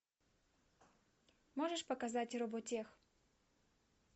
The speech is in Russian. можешь показать роботех